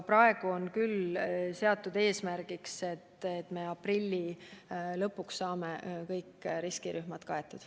Praegu aga on seatud eesmärgiks, et me aprilli lõpuks saame kõik riskirühmad vaktsineeritud.